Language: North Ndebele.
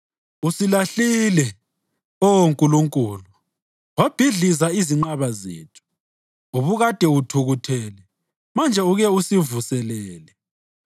Ususilahlile, Oh Nkulunkulu, wabhidliza izinqaba zethu; ubukade uthukuthele, manje ake usivuselele!